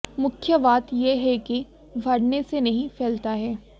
मुख्य बात यह है कि भरने से नहीं फैलता है